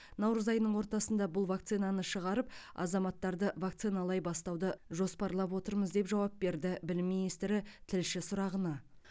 наурыз айының ортасында бұл вакцинаны шығарып азаматтарды вакциналай бастауды жоспарлап отырмыз деп жауап берді білім министрі тілші сұрағына